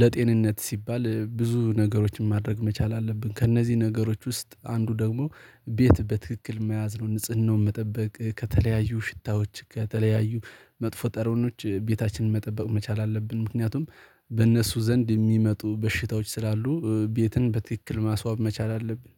ለጤንነት ሲባል ብዙ ነገሮችን ማድረግ መቻል አለብን ከእነዚህ ነገሮች ውስጥ አንዱ ደግሞ ቤት በትክክል መያዝ ነው። ንጽህናውን መጠበቅ ከተለያዩ ሽታዎች ከተለያዩ መጥፎ ጠረኖች ቤታችንን መጠበቅ መቻል አለብን ምክንያቱም በእነሱ ዘንድ የሚመጡ በሽታዎች ስላሉ ቤትን በትክክል ማስዋብ መቻል አለብን።